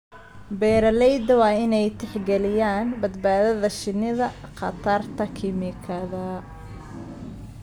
Beeralayda waa inay tixgeliyaan badbaadada shinnida khatarta kiimikada.